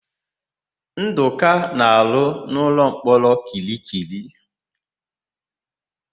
Ndụka na-arụ n'ụlọmkpọrọ Kirikiri.